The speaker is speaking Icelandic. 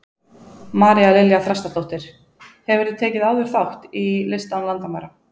María Lilja Þrastardóttir: Hefurðu tekið áður þátt í List án landamæra?